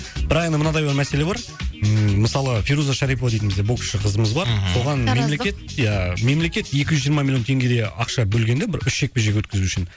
бірақ енді мынадай бір мәселе бар ммм мысалы фируза шарипова дейтін бізде боксшы қызымыз бар мхм соған тараздық мемлекет ия мемлекет екі жүз жиырма миллион теңгедей ақша бөлген де бір үш жекпе жек өткізу үшін